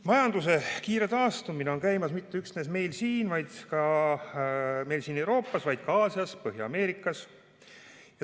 Majanduse kiire taastumine on käimas mitte üksnes meil siin Euroopas, vaid ka Aasias ja Põhja-Ameerikas.